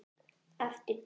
Eftir dag.